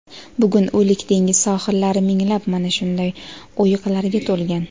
bugun O‘lik dengiz sohillari minglab mana shunday o‘yiqlarga to‘lgan.